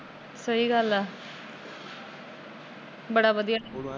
ਸਹੀ ਗੱਲ ਏ, ਬੜਾ ਵਧੀਆ